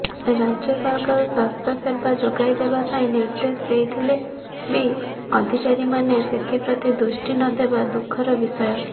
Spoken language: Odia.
ରାଜ୍ୟ ସରକାର ସ୍ୱାସ୍ଥ୍ୟସେବା ଯୋଗାଇଦେବା ପାଇଁ ନିଦେ୍ର୍ଦଶ ଦେଇଥିଲେ ବି ଅଧିକାରୀମାନେ ସେଥିପ୍ରତି ଦୃଷ୍ଟି ନଦେବା ଦୁଃଖର ବିଷୟ